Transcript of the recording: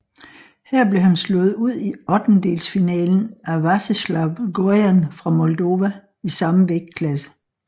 Her blev han slået ud i ottendelsfinalen af Veaceslav Gojan fra Moldova i samme vægtklasse